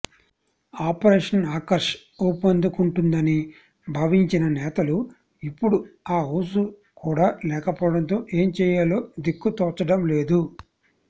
operation Akarsh ఊపందుకుంటుందని భావించిన నేతలు ఇప్పుడు ఆ ఊసు కూడా లేకపోవడంతో ఏం చేయాలో దిక్కుతోచడం లేదు